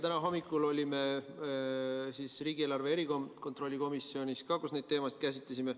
Täna hommikul olime koos riigieelarve kontrolli erikomisjonis, kus me neid teemasid käsitlesime.